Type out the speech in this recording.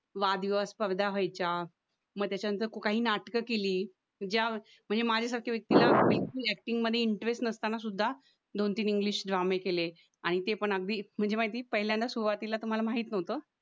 वाद विवाद स्पर्धा व्हायच्या म त्याच्यानंतर काही नाटकं केली ज्या म्हणजे माझ्यासारख्या व्यक्तीला एक्टिंग मध्ये इंटरेस्ट नसताना सुद्धा दोन-तीन इंग्लिश ड्रामे केले आणि ते पण अगदी म्हणजे माहिती पहिल्यांदा सुरुवातीला तर मला माहित नव्हतं